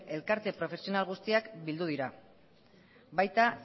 elkarte profesional guztiak bildu dira baita